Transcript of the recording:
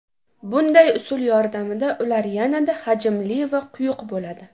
Bunday usul yordamida ular yanada hajmli va quyuq bo‘ladi.